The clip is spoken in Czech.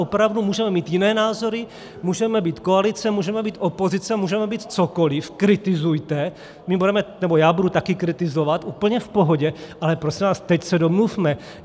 Opravdu můžeme mít jiné názory, můžeme být koalice, můžeme být opozice, můžeme být cokoli, kritizujte, já budu taky kritizovat, úplně v pohodě, ale prosím vás, teď se domluvme.